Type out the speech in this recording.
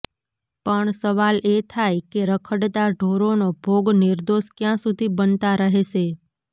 પણ સવાલ એ થાય કે રખડતા ઢોરોનો ભોગ નિર્દોષ ક્યાં સુધી બનતા રહેશે